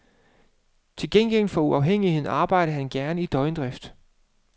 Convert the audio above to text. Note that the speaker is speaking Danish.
Til gengæld for uafhængigheden arbejdede han gerne i døgndrift.